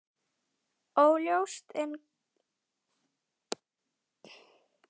Óljóst er enn hvers vegna.